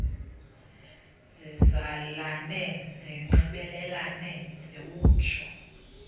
zizalane zinxibelelane ziwutsho